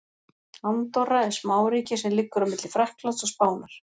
Andorra er smáríki sem liggur á milli Frakklands og Spánar.